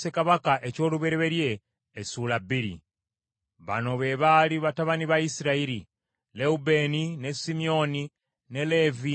Bano be baali batabani ba Isirayiri: Lewubeeni, ne Simyoni, ne Leevi, ne Yuda, ne Isakaali, ne Zebbulooni,